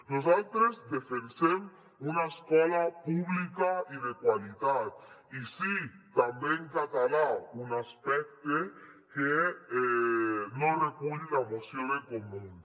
nosaltres defensem una escola pública i de qualitat i sí també en català un aspecte que no recull la moció de comuns